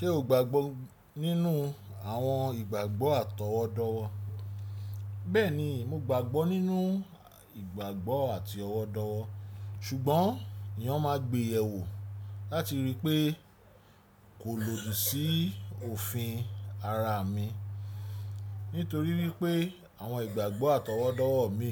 Ṣé o gbàgbọ́ nínú àwọn ìgbàgbọ́ àtọwọ́dọ́wọ́? Bẹ́ẹ̀ni, mo gbàgbọ́ nínú ìgbàgbọ́ àti ọ̀wọ̀dọ̀wọ̀, ṣùgbọ́n èèyàn maa n gbéyẹ̀wò láti rí i pé kò lòdì sí òfin ara mi nítorí wípé àwọn ìgbàgbọ́ àtọwọ́dọ́wọ́ mi